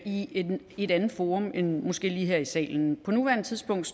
i et andet forum end måske lige her i salen på nuværende tidspunkt